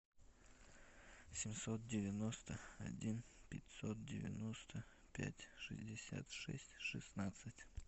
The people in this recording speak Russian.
семьсот девяносто один пятьсот девяносто пять шестьдесят шесть шестнадцать